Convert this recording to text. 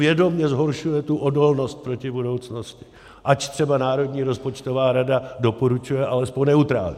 Vědomě zhoršuje tu odolnost proti budoucnosti, ač třeba Národní rozpočtová rada doporučuje alespoň neutrální.